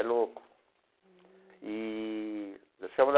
É louco eee.